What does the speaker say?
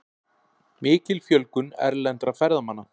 Mikil fjölgun erlendra ferðamanna